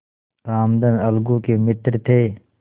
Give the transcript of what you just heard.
रामधन अलगू के मित्र थे